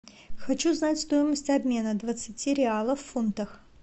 хочу знать стоимость обмена двадцати реалов в фунтах